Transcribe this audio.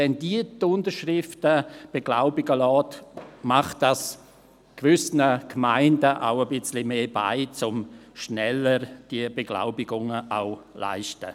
Wenn diese die Unterschriften beglaubigen lässt, macht dies gewissen Gemeinden vielleicht auch etwas mehr Beine, sodass diese Beglaubigungen rascher vorliegen.